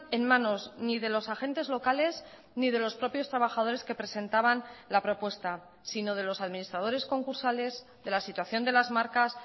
en manos ni de los agentes locales ni de los propios trabajadores que presentaban la propuesta si no de los administradores concursales de la situación de las marcas